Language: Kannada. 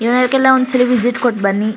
ನೀವ್ ಅದಕ್ಕೆಲ್ಲ ಒಂದ್ಸಲ ವಿಸಿಟ್ ಕೋಟ್ ಬನ್ನಿ--